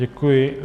Děkuji.